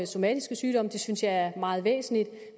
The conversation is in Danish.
somatiske sygdomme det synes jeg er meget væsentligt